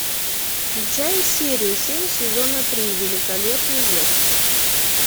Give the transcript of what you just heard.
включай серию семь сезона три великолепный век